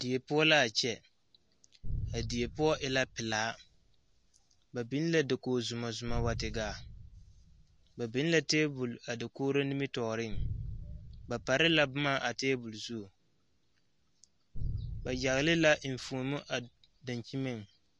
Die poɔ la a kyɛ a die poɔ e la pilaa ba biŋ la dakog xomɔzomɔ wa te gaa ba biŋ la tabol a dakogero nimitɔɔriŋ ba pare la boma a tabol zu ba yagle la eŋfuomo a daŋkyineŋ.